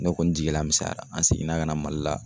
Ne kɔni jigila misɛnyara, an seginna ka na Mali la.